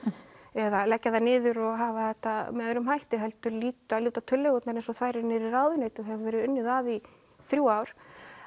eða leggja þær niður og hafa þetta með öðrum hætti heldur líta tillögurnar eins og þær eru niðri í ráðuneyti og hefur verið unnið að í þrjú ár